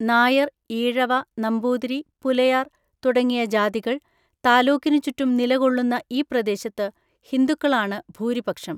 നായർ, ഈഴവ, നമ്പൂതിരി, പുലയാർ തുടങ്ങിയ ജാതികൾ താലൂക്കിനു ചുറ്റും നിലകൊള്ളുന്ന ഈ പ്രദേശത്ത് ഹിന്ദുക്കളാണ് ഭൂരിപക്ഷം.